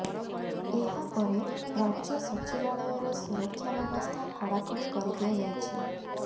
ଏହା ପରେ ରାଜ୍ୟ ସଚିବାଳୟର ସୁରକ୍ଷା ବ୍ୟବସ୍ଥା କଡ଼ାକଡ଼ି କରି ଦିଆଯାଇଛି